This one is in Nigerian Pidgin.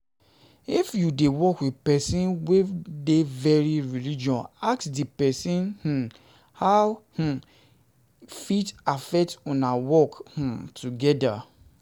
If you de work with persin wey de very religious ask di persin um how e um fit affect una work um together